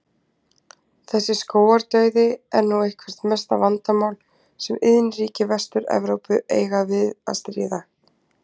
Þessi skógardauði er nú eitthvert mesta vandamál sem iðnríki Vestur-Evrópu eiga við að stríða.